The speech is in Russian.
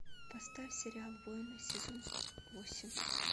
поставь сериал воины сезон восемь